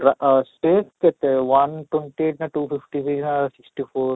ରା ଆଃ ସେ କେତେ one twenty ନା two fifty sixty four